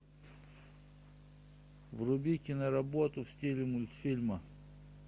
вруби киноработу в стиле мультфильма